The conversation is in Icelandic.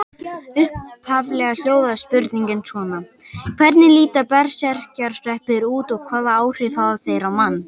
Upphaflega hljóðaði spurningin svona: Hvernig líta berserkjasveppir út og hvaða áhrif hafa þeir á mann?